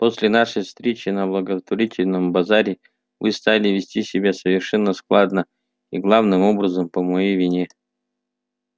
после нашей встречи на благотворительном базаре вы стали вести себя совершенно скандально и главным образом по моей вине